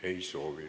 Ei soovi.